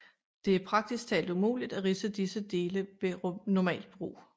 Det er praktisk talt umuligt at ridse disse dele ved normalt brug